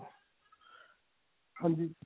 ਹਾਂਜੀ